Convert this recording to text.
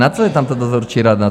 Na co je tam ta dozorčí rada?